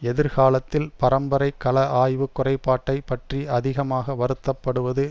எதிர்காலத்தில் பரம்பரை கல ஆய்வு குறைபாட்டை பற்றி அதிகமாக வருத்தப்படுவது